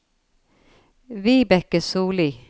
Vibeke Sollie